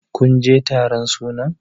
kun je taron sunan!